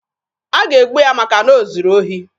A ga-egbu ya maka na o zuru ohi.